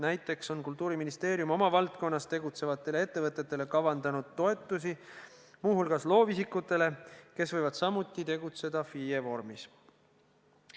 Näiteks on Kultuuriministeerium oma valdkonnas tegutsevatele ettevõtetele kavandanud toetusi, muu hulgas loovisikutele, kes võivad samuti tegutseda FIE vormis.